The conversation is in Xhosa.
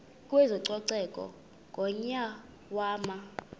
kwezococeko ngonyaka wama